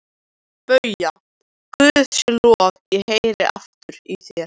BAUJA: Guði sé lof, ég heyri aftur í þér!